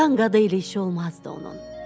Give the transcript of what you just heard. Qan-qada ilə işi olmazdı onun.